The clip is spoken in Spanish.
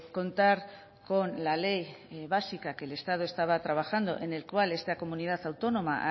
contar con la ley básica que el estado estaba trabajando en el cual esta comunidad autónoma ha